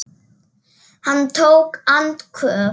Hann tók andköf.